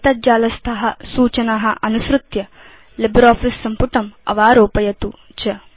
एतत् जालस्था सूचना अनुसृत्य लिब्रियोफिस सम्पुटं अवारोपयतु च